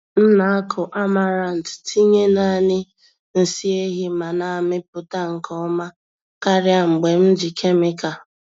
M na-akụ amaranth tinye naanị nsị ehi ma na-amịpụta nke ọma karịa mgbe m ji kemịkal.